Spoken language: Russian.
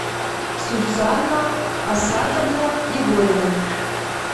сусанна асатовна егорина